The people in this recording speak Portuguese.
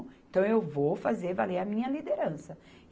Então, eu vou fazer valer a minha liderança.